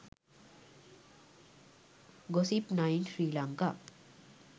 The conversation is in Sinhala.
gossip9 sri lanka